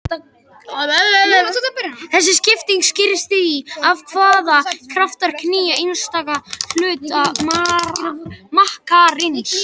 Þessi skipting skýrist af því hvaða kraftar knýja einstaka hluta makkarins.